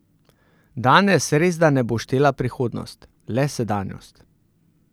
Danes resda ne bo štela prihodnost, le sedanjost.